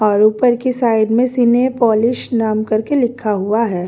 और ऊपर की साइड में सिने पॉलिश नाम करके लिखा हुआ है।